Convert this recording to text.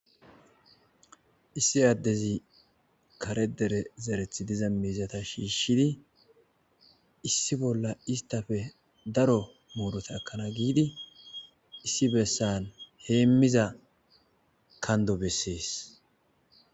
Issi addezi kare dere zerethi diza miizata shiishshidi issi bolla istafe daro muurota ekkana giidi issi bessan heemmiza kando bessees.